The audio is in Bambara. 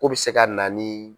Ko bɛ se ka na ni.